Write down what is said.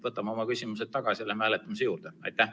Võtame oma küsimused tagasi ja läheme hääletamise juurde!